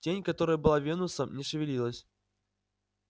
тень которая была венусом не шевелилась